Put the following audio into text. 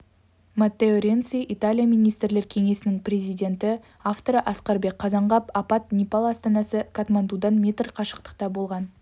маттео ренци италия министрлер кеңесінің президенті авторы асқарбек қазанғап апат непал астанасы катмандудан метр қашықтықта болған